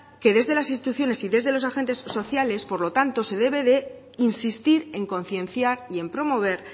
que desde las instituciones y desde los agentes sociales por lo tanto se debe de insistir en concienciar y en promover